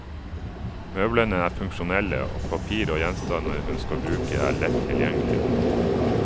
Møblene er funksjonelle, og papirer og gjenstander hun skal bruke, er lett tilgjengelige.